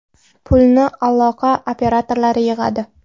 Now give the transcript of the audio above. Pulni aloqa operatorlari yig‘adi.